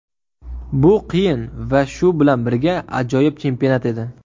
Bu qiyin va shu bilan birga ajoyib chempionat edi.